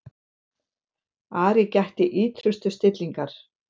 Ari gætti ýtrustu stillingar.